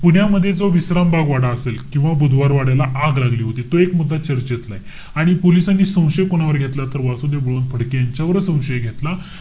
पुण्यामध्ये जो विश्राम बाग वाडा असेल. किंवा बुधवार वाड्याला आग लागली होती तो एक मुद्दा चर्चेतला आहे. आणि पोलिसांनी संशय कोणावर घेतला? तर वासुदेव बळवंत फडके यांच्यावरच संशय घेतला.